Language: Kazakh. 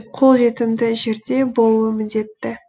қолжетімді жерде болуы міндетті